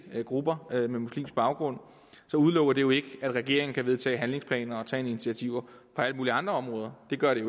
grupper med muslimsk baggrund så udelukker det jo ikke at regeringen kan vedtage handlingsplaner og tage initiativer på alle mulige andre områder det gør det